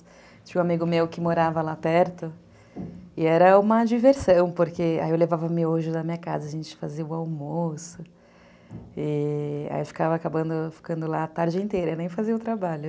Tinha um amigo meu que morava lá perto e era uma diversão, porque eu levava miojo da minha casa, a gente fazia o almoço e ficava ficando lá a tarde inteira, nem fazia o trabalho.